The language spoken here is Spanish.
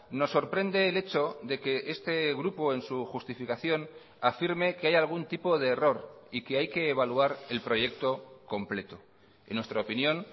nos sorprende el hecho de que este grupo en su justificación afirme que hay algún tipo de error y que hay que evaluar el proyecto completo en nuestra opinión